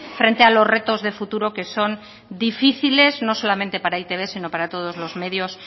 frente a los retos de futuro que son difíciles no solamente para e i te be sino para todos los medios